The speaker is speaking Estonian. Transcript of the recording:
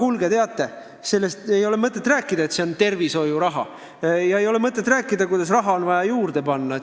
Teate, ei ole mõtet rääkida, et see on tervishoiuraha, ja ei ole mõtet rääkida, et raha on juurde vaja.